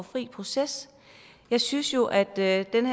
fri proces jeg synes jo at den